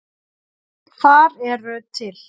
Þar eru til